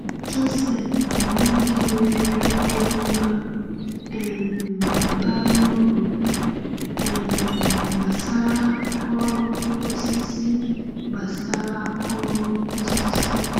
Joseph bụ nwoke nwere ihe ọmụma um bara uru um gbasara ọrụ osisi. gbasara ọrụ osisi.